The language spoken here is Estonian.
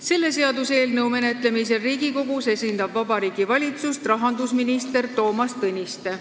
Selle seaduseelnõu menetlemisel Riigikogus esindab Vabariigi Valitsust rahandusminister Toomas Tõniste.